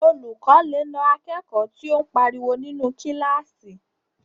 Olùkọ́ lè na akẹ́kọ̀ọ́ tí o n pariwo ninu kílásì